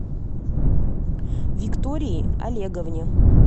виктории олеговне